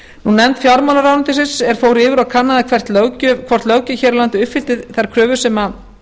nefnd fjármálaráðuneytisins er fór yfir og kannaði hvort löggjöf hér á landi uppfyllti þær kröfur sem